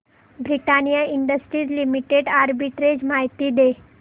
Britannia industries limited arbitrage माहिती दे